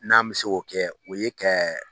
N'an mɛ se k'o kɛ o ye kɛ